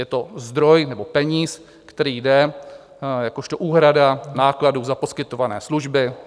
Je to zdroj, nebo peníz, který jde jakožto úhrada nákladů za poskytované služby.